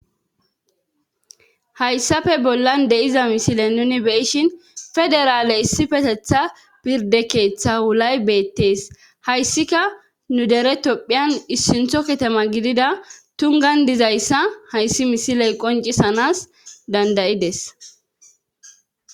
Hayssafe bollan de'iza misile nuni beyishin federaale issipetetha pirde keeththa wulay beettees hayssika nu dere topphiyan issintho katama gidida tungan dizayssa hayssi misiley qoncisanas dandayides